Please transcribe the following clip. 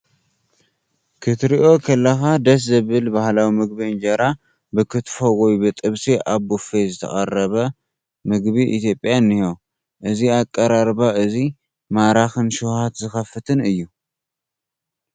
ክትሪኦ ከለኻ ደስ ዘብል ባህላዊ ምግቢ እንጀራ ብክትፎ ወይ ብጥብሲ ኣብ ቡፌ ዝተቐረ ምግቢ ኢትዮጵያ እኒሄ። እዚ ኣቀራርባ እዚ ማራኽን ሸውሃት ዝኸፍትን እዩ።